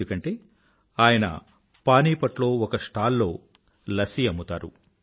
ఎందుకంటే ఆయన పానీపట్ లో ఒక స్టాల్ లో లస్సీ అమ్ముతారు